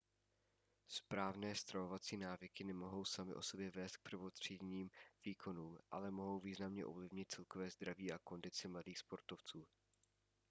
správné stravovací návyky nemohou samy o sobě vést k prvotřídním výkonům ale mohou významně ovlivnit celkové zdraví a kondici mladých sportovců